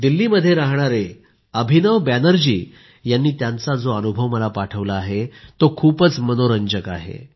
दिल्लीमध्ये राहणाऱ्या अभिनव बॅनर्जी यांनी त्यांचा जो अनुभव मला पाठविला आहे तो खूप मनोरंजक आहे